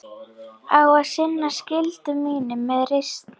Á að sinna skyldu mínum með reisn.